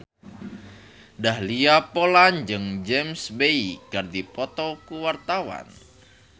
Dahlia Poland jeung James Bay keur dipoto ku wartawan